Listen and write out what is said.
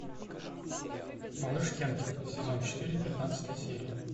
малыш кенкен сезон четыре пятнадцатая серия